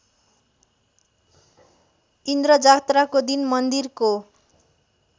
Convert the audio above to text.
इन्द्रजात्राको दिन मन्दिरको